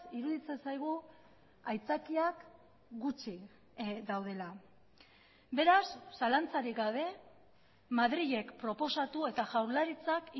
iruditzen zaigu aitzakiak gutxi daudela beraz zalantzarik gabe madrilek proposatu eta jaurlaritzak